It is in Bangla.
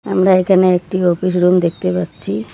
আমরা এখানে একটি অপিস রুম দেখতে পাচ্ছি।